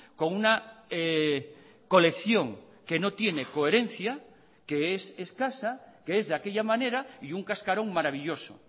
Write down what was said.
con una colección que no tiene coherencia que es escasa que es de aquella manera y un cascaron maravilloso